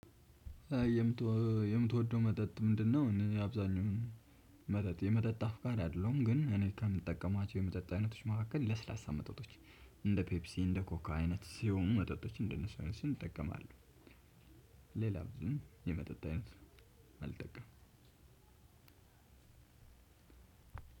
የምትወደው መጠጥ ምንድነው? እኔ አብዛኛውን መጠጥ የመጠጥ አፍቃሪ አይደለሁም፤ ግን እኔ ከምጠቀማቸው የመጠጥ አይነቶች መካከል ለስላሳ መጠጦች፤ እንደ ፔፕሲ፣ እንደ ኮካ፣ አይነት ሲሆኑ መጠጦች እንደነሱ አይነት እነሱን እጠቀማለሁ፤ ሌላ ብዙም የመጠጥ አይነት አልጠቀምም፤